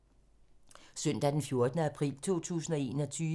Søndag d. 4. april 2021